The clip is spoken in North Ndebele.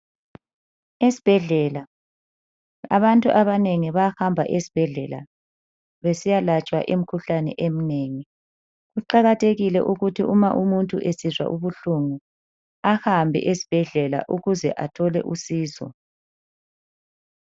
Esbhedlela, abantu abanengi bayahamba esbhedlela besiyalatshwa imkhuhlane emnengi. Kuqakathekile ukuthi umuntu nxa esizwa ubuhlungu ahambe esbhedlela ukuze athole usizo.